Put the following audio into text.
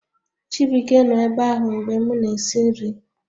Chibuike nọ ebe ahụ mgbe m na-esi nri